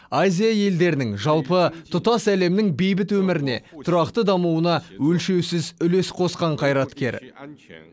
азия елдерінің жалпы тұтас әлемнің бейбіт өміріне тұрақты дамуына өлшеусіз үлес қосқан қайраткер